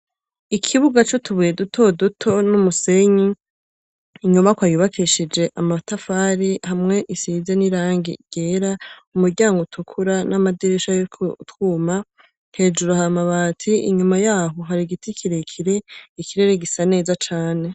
Ikibuga c'utubuye dutoduto n'umusenyi; inyubakwa yubakishije amatafari, hamwe isize n'irangi ryera, umuryango utukura n'amadirisha ariko utwuma. Hejuru hari amabati. Inyuma y'aho hari igiti kirekire. Ikirere gisa neza cane.